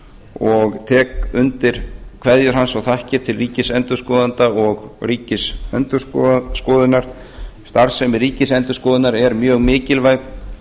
og tek undir kveðjur hans og þakkir til ríkisendurskoðanda og ríkisendurskoðunar starfsemi ríkisendurskoðunar er mjög mikilvæg